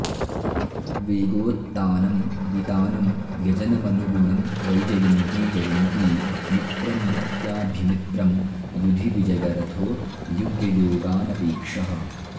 वेगोत्तानं वितानं व्यजनमनुगुणं वैजयन्ती जयन्ती मित्रं नित्याभ्यमित्रं युधि विजयरथो युग्ययोगानपेक्षः